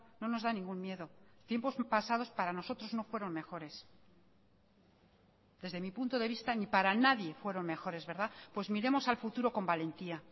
no nos da ningún miedo tiempos pasados para nosotros no fueron mejores desde mi punto de vista ni para nadie fueron mejores verdad pues miremos al futuro con valentía